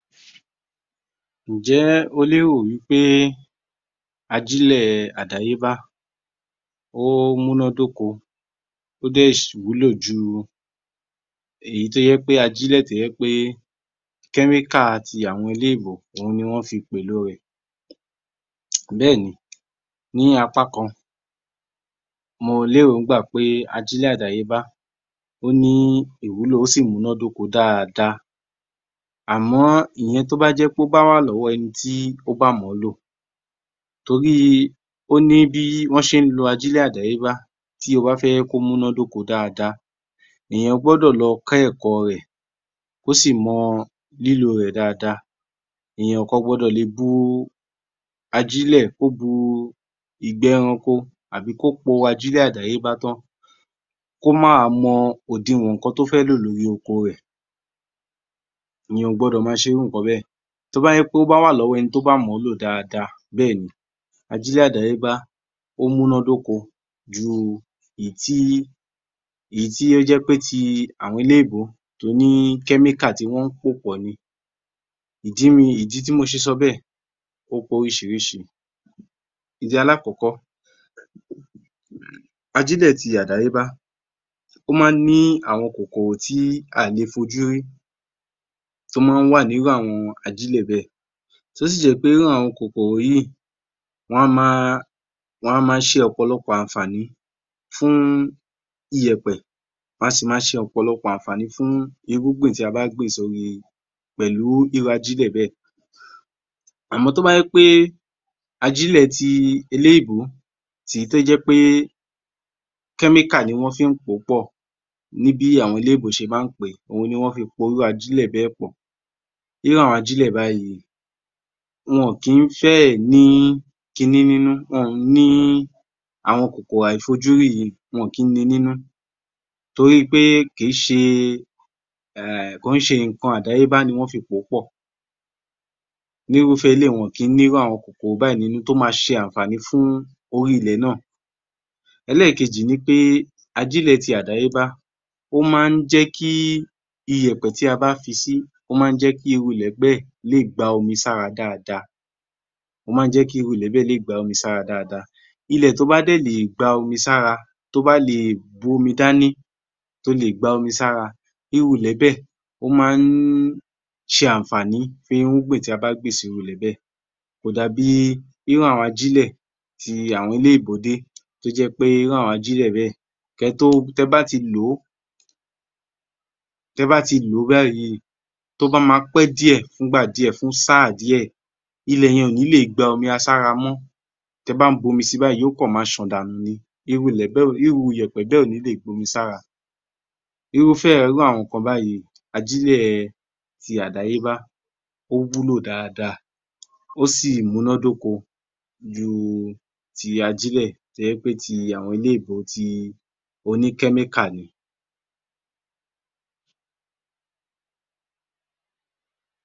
17_ _yor_m_1143_AG00902 Ǹjẹ́ o lérò wípé ajílẹ̀ àdáyébá ó múná dóko ó dẹ̀ ṣì wúlò ju èyí tó jẹ́ pé, ajílẹ̀ tó jẹ́ pé chemical ti àwọn eléèbó òun ni wọ́n fi pèlo rẹ̀. Béèni, ní apá kan, mo l'éròńgbà pé ajílẹ̀ àdáyébá ó ní ìwúlò ó sì múná dóko dáadáa. Àmọ́ ìyẹn tó bá jẹ́ pé ó bá wà lọ́wọ ẹnití ó bá mọ̀ọ́ lò. Torí ó ní bí wọ́n ṣe ń lo ajílẹ̀ àdáyébá, tí o bá fẹ́ kó múná dóko dáadáa. Èyàn gbọ́dọ̀ lo kọ́ ẹ̀kọ́ rẹ̀, kó sì mọ lílò rẹ̀ dáadáa. Èyàn ò kàn gbọdọ̀ lè bu ajílẹ̀, kó bu ìgbẹ́ ẹranko, tàbí kó po ajílẹ̀ àdáyébá tán kó má wa mọ òdiwọ̀n ǹkan tó fẹ́ lò lórí oko rẹ̀. Èyàn ò gbọdọ̀ máa ṣe irú ǹkan bẹ́ẹ̀. Tó bá jẹ́ pé ó wà lọ́wọ ẹnití ó bá mọ lò dáadáa, béèni, ajílẹ̀ àdáyébá ó múná dóko ju èyí tí ó jẹ́ pé ti àwọn eléèbó to ní chemical tí wọ́n pò pọ̀ ni. Ìdí tí mo ṣe sọ bẹ́ẹ̀ ó pé orísìírísìí. Ìdí alákọ̀kọ́, ajílẹ̀ ti àdáyébá ó má ní àwọn kòkòrò tí aà le fojú rí tó má wà ní irú ajílẹ́ bẹ́ẹ̀. Tó sì jẹ́ wípé irú àwọn kòkòrò yìí wọ́n á máa ṣe ọ̀pọ̀lọpọ̀ ànfààní fún ọ̀pọ̀lọpọ̀ ànfààní fún ìyẹ̀pẹ̀, wọn a sì máa ṣe ọ̀pọ̀lọpọ̀ ànfààní fún irúgbìn tí a bá gbìn pẹ̀lú irú ajílẹ́ bẹ́ẹ̀. Àmọ́ tó bá jẹ́ pé ajílẹ̀ ti eléèbó tí tó jẹ́ pé chemical ni wọ́n fi ń pó pọ̀ ní bí àwọn eléèbó ṣe maá pèé, òun ni wọ́n fi po irú ajílẹ́ bẹ́ẹ̀ pọ̀. Irú àwọn ajílẹ́ báyíì wọn kì fẹ́ ní kin ní nínú, àwọn kòkòrò àìfojúrí yíì, wọn ò kí ni nínú. Toríi pé kìí ṣe um ǹkan àdáyébá ni wọ́n fi pòó pọ̀. Ní rúfẹ́ eléyì wọn ò kìí ní irúfẹ́ àwọn kòkòrò báyìí nínú tó ma ṣe ànfààní fún orí ilẹ̀ náà. Ẹlẹ́ẹ̀kejì ni pé ajílẹ́ ti àdáyébá ó má ń jẹ́ kí iyẹ̀pẹ̀ tí a bá fi sí, ó má ń jẹ́ kí irú ilẹ̀ bẹ́ẹ̀ le gba omi sára dáadáa, Ilẹ̀ tó bá dẹ̀ lè gba omi sára, tó bá lè bu omi dání, tó lè gba omi sára, irú ilẹ̀ bẹ́ẹ̀ ó má ń ṣe ànfààní fún irúgbìn tí a bá gbìn sí irú ilẹ̀ bẹ́ẹ̀. Kò dà bíi irú àwọn ajílẹ̀ ti àwọn eléèbó dé, tó jẹ́ pé irú àwọn ajílẹ̀ bẹ̀, tẹ bá ti lòó báyìí, tó bá ma pé díẹ̀, fún ìgbà díẹ̀, fún sáà díẹ̀, Ilẹ̀ yẹn ò ní lè gba omi sára mọ́. Tẹ bá ń b'omi si báyìí, yoó kàn ma ṣàn dànù ni. Irú ilẹ̀ bẹ́ẹ̀ Irú yẹ̀pẹ̀ bẹ́ẹ̀ ò ní lè gba omi sára. Irúfẹ́ irú àwọn ǹkan báyíì, ajílẹ́ ti àdáyébá ó wúlò dáadáa, ó sì múná dóko ju ti ajílẹ̀ tó jẹ́ pé ti àwọn eléèbó ti, oní chemical ni.